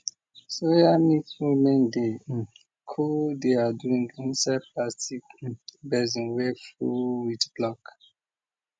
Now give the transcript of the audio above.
soya milk women dey cool their drink inside plastic basin wey full with block